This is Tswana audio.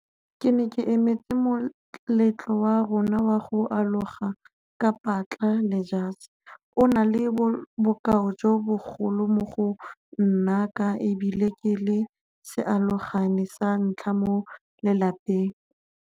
Ke ne ke emetse moletlo wa rona wa go aloga ka patla le jase. O na le bokao jo bogolo mo go nna ka e bile ke le sealogane sa ntlha mo lelapeng.